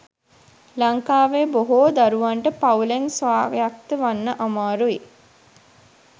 ලංකාවේ බොහෝ දරුවන්ට පවුලෙන් ස්වායක්ත වන්න අමාරුයි.